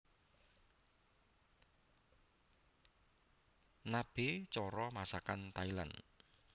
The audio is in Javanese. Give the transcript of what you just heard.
Nabe cara masakan Thailand